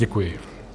Děkuji.